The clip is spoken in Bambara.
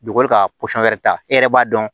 Dugukolo ka wɛrɛ ta e yɛrɛ b'a dɔn